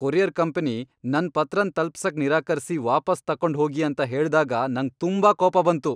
Courier company ನನ್ ಪತ್ರನ್ ತಲ್ಪಿಸಕ್ ನಿರಾಕರಿಸಿ ವಾಪಾಸ್ ತಕೊಂಡು ಹೋಗಿ ಅಂತ ಹೇಳ್ದಾಗ ನಂಗ್ ತುಂಬಾ ಕೋಪ ಬಂತು.